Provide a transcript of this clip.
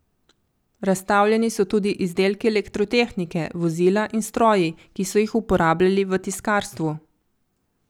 Razstavljeni so tudi izdelki elektrotehnike, vozila in stroji, ki so jih uporabljali v tiskarstvu.